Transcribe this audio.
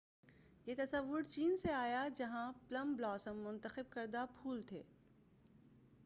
یہ تصور چین سے آیا جہاں پلم بلاسم ، مُنتخب کردہ پُھول تھے۔